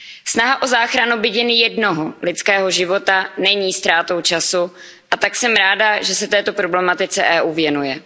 Snaha o záchranu byť jen jednoho lidského života není ztrátou času a tak jsem ráda, že se této problematice EU věnuje.